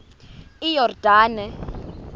iyordane